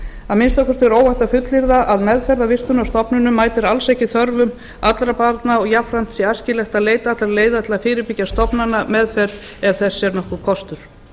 að minnsta kosti er óhætt að fullyrða að meðferð á vistunarstofnunum mætir alls ekki þörfum allra barna og jafnframt sé æskilegt að leita allra leiða til að fyrirbyggja stofnanameðferð ef þess er nokkur kostur